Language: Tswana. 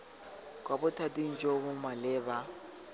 kwa bothating jo bo maleba